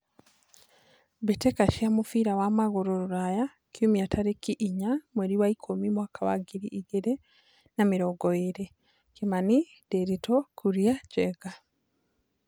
Mbĩ tĩ ka cia mũbira wa magũrũ Ruraya Kiumia tarĩ ki inya mweri wa ikũmi mwaka wa ngiri igĩ rĩ na mĩ rongo ĩ rĩ : Kimani, Ndiritu, Kuria, Njenga.